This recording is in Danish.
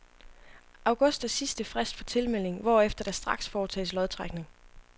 August er sidste frist for tilmelding, hvorefter der straks foretages lodtrækning.